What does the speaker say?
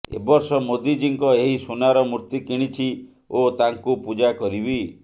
ଏ ବର୍ଷ ମୋଦିଜୀଙ୍କ ଏହି ସୁନାର ମୂର୍ତ୍ତି କିଣିଛି ଓ ତାଙ୍କୁ ପୂଜା କରିବି